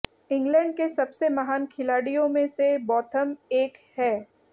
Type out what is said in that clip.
England के सबसे महान खिलाडियों में से बॉथम एक है